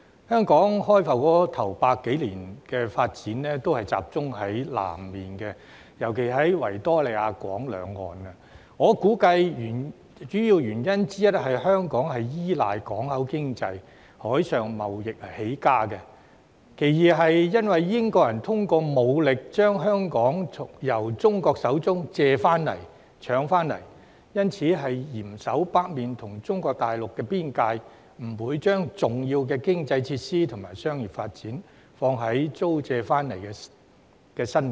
香港開埠首100多年來的發展，都集中在南面，尤其是維多利亞港兩岸，我估計主要的原因是香港依賴港口經濟、海上貿易起家；其次是由於英國人通過武力，將香港由中國手中借回來、搶回來，所以要嚴守北面與中國大陸邊界，不把重要的經濟設施及商業發展，放在租借回來的新界。